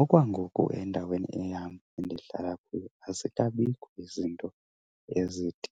Okwangoku endaweni eyam endihlala kuyo azikabikho izinto ezithi